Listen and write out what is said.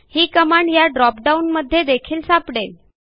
ही command ह्या dropdown मध्ये देखील सापडेल